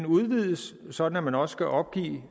udvides sådan at man også skal opgive